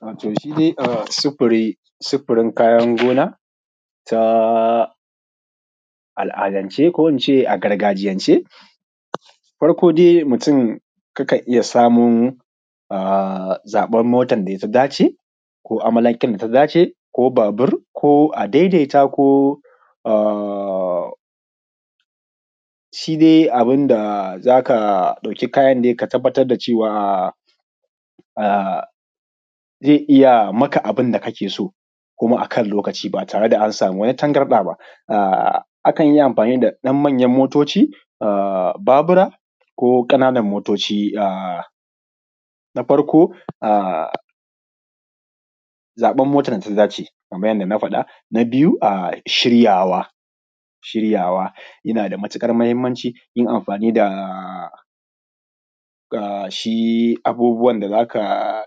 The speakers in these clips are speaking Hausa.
Wato shi sufuri, sufurin kayan gona ta al’adance ko in ce a gargajiyance farko dai mutum kan iya samo a zaɓan motan tafi dacewa ko amalanken ta dace ko babur ko adaidaita? Ko shi dai abin da za ka ɗaukin kayan dai ka tabbatar da cewa zai iya maka abun da ake so kuma akan lokaci ba tare da an samu wani tangarɗa ba. A kan yi amfani da ɗan manyan motoci, babura ko ƙananan motoci na farko azaɓa motan da ta dace kaman yadda na faɗa, na biyu shiryawa, yana da matuƙar mahimmanci yin amfani da shi abubuwan da za ka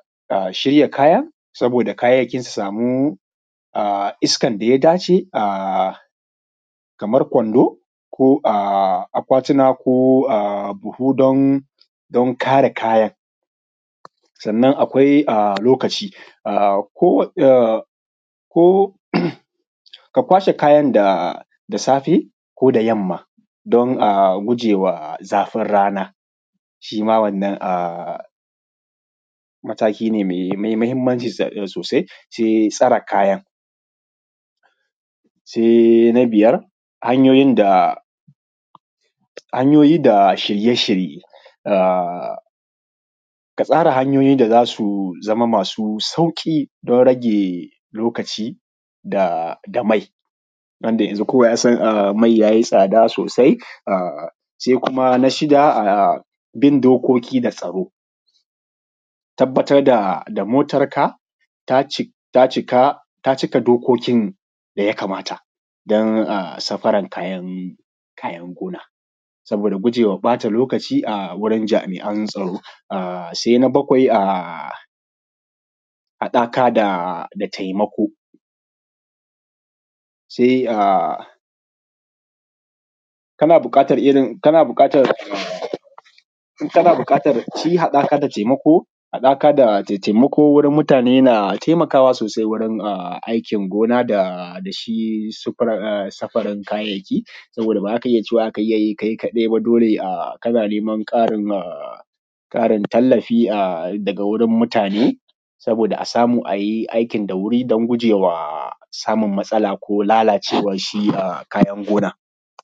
shirya kayan saboda kayayyaki su samu iskan da ya dace kamar a kwando ko a akwatuna ko a buhu don kare kayan, sannan akwai lokaci a ko ka kwashe kayan da safe ko da yamma dan a gujewa zafin rana, shi ma wannan mataki ne mai mahimmnaci sosai, sai tsare kayan. Sai na biyar hanyoyin da shirye-shirye ka tsara hanyoyi da za su zama masu sauƙi dan rage lokaci da mai wanda yazun kowa ya san mai ya yi tsada sosai sai kuma na shida bin dokoki da tsaro, tabbatar da motarka ta cika dokokin da ya kamata dan safaran kayan gona saboda gujewa ɓata lokaci a wurin jami’an tsaro, sai na bakwai haɗaka da taimako sai kana buƙatar irin shi haɗaka da taimako wurin mutane na taimakawa sosai wurin aikin gona da shi safarin kayayyaki sabida ba za ka iya cewa za ka yi kai kaɗai ba, dole kana neman ƙarin tallafi daga wurin mutane saboda a samu a yi aikin da wuri dan gujewa samun matsala ko lalacewar shi kayan gonan.